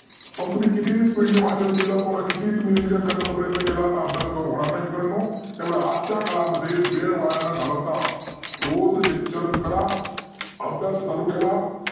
मग तुम्ही कितीही speed वाचन केलं किती ही revision करण्याचा प्रयत्न केला तर अभ्यास काय होनार नाही मित्रांनो. तेव्हा आजच्या काळामध्ये वेळ न घालवता रोज lecture करा. अभ्यास चालू ठेवा